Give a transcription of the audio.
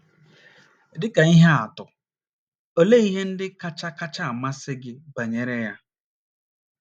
Dị ka ihe atụ, olee ihe ndị kacha kacha amasị gị banyere ya?